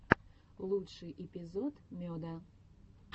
лучший эпизод меда